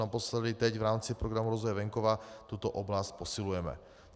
Naposledy teď, v rámci Programu rozvoje venkova, tuto oblast posilujeme.